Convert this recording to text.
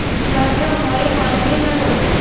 প্রাণে ভয়ে পালিয়ে গেলো